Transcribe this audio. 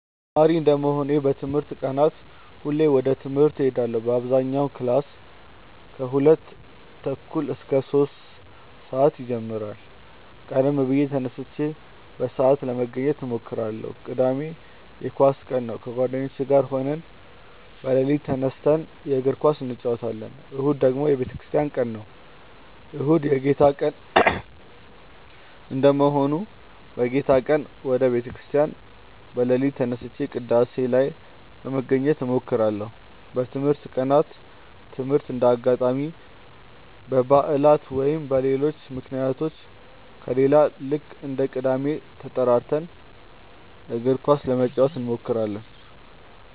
ተማሪ እንደመሆኔ በትምህርት ቀናት ሁሌም ወደ ትምህርት እሄዳለው በአብዛኛው ክላስ ከሁለት ተኩል እስከ ሶስት ሰአት ይጀምራል ቀደም ብዬ ተነስቼ በሰአት ለመገኘት እሞክራለው። ቅዳሜ የኳስ ቀን ነው ከጓደኞቼ ጋር ሆነን በሌሊት ተነስተን የእግር ኳስ እንጨወታለን። እሁድ ደግሞ የቤተክርስቲያን ቀን ነው። እሁድ የጌታ ቀን እንደመሆኑ በጌታ ቀን ወደ ቤተ ክርስቲያን በሌሊት ተነስቼ ቅዳሴ ላይ ለመገኘት እሞክራለው። በትምህርት ቀናት ትምህርት እንደ አጋጣሚ በባዕላት ወይም በሌሎች ምክንያቶች ከሌለ ልክ እንደ ቅዳሜው ተጠራርተን እግር ኳስ ለመጫወት እንሞክራለው።